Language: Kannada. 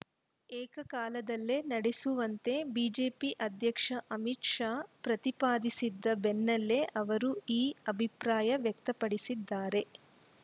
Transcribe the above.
ಏಕಕಾಲದಲ್ಲಿ ನಡೆಸುವಂತೆ ಬಿಜೆಪಿ ಅಧ್ಯಕ್ಷ ಅಮಿತ್‌ ಶಾ ಪ್ರತಿಪಾದಿಸಿದ ಬೆನ್ನಲ್ಲೇ ಅವರು ಈ ಅಭಿಪ್ರಾಯ ವ್ಯಕ್ತಪಡಿಸಿದ್ದಾರೆ